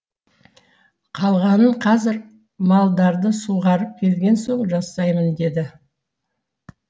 қалғанын қазір малдарды суғарып келген соң жасаймын деді